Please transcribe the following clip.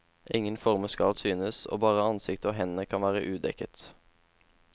Ingen former skal synes, og bare ansiktet og hendene kan være udekket.